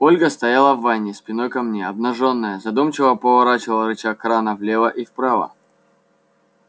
ольга стояла в ванне спиной ко мне обнажённая задумчиво поворачивала рычаг крана влево и вправо